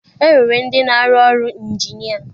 E nwere ndị na arụ ọrụ ịnjinịa.